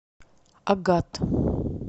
агат